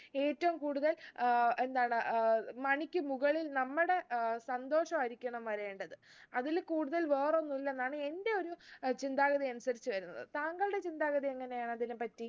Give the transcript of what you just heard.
ഏറ്റവും കൂടുതൽ ഏർ എന്താണ് ഏർ money ക്ക് മുകളിൽ നമ്മുടെ ഏർ സന്തോഷം ആയിരിക്കണം വരേണ്ടത് അതില് കൂടുതൽ വേറൊന്നു ഇല്ലെന്നാണ് എന്റെ ഒരു ഏർ ചിന്താഗതി അനുസരിച്ച് വരുന്നത് താങ്കളുടെ ചിന്താഗതി എങ്ങനെയാണ് അതിനെ പറ്റി